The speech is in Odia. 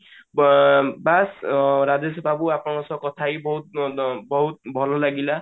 ବାସ ରାଜେଶ ବାବୁ ଆପଣଙ୍କ ସହ କଥା ବହୁତ ବହୁତ ଭଲ ଲାଗିଲା